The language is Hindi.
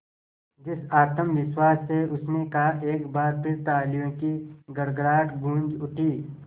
जिस आत्मविश्वास से उसने कहा एक बार फिर तालियों की गड़गड़ाहट गूंज उठी